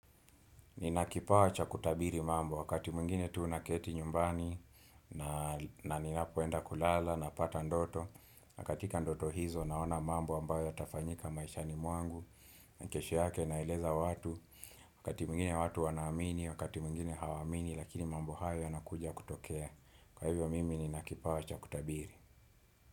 Nina kipawa cha kutabiri mambo wakati mwingine tu naketi nyumbani na na ninapoenda kulala napata ndoto na katika ndoto hizo naona mambo ambayo yatafanyika maishani mwangu ni kesho yake naeleza watu wakati mwingine watu wanaamini wakati mwingine hawaamini lakini mambo hayo yanakuja kutokea. Kwa hivyo mimi nina kipawa cha kutabiri.